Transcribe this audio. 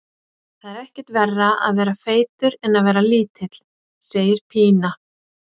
Það er ekkert verra að vera feitur en að vera lítill, segir Pína.